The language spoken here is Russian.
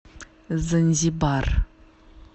занзибар